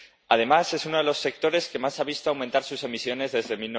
Además, es uno de los sectores que más ha visto aumentar sus emisiones desde